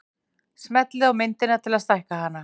Smellið á myndina til að stækka hana.